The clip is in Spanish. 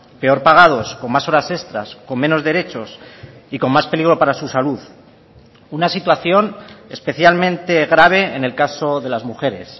peor pagados con más horas extras con menos derechos y con más peligro para su salud una situación especialmente grave en el caso de las mujeres